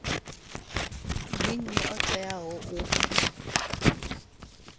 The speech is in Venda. ndi nnyi a teaho u